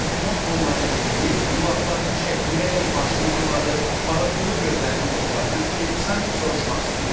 Artimon onları dinləyir, qulaqlarını şəkləyərək başını fırladır, parıltılı gözlərini dostlarına tikib sanki soruşmaq istəyirdi: